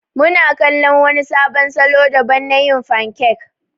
Muna kala wani sabon salo daban na yin fankek.